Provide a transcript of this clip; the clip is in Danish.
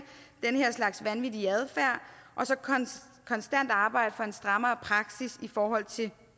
den her slags vanvittig adfærd og så konstant arbejde for en strammere praksis i forhold til